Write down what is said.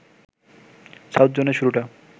south জোনের শুরুটা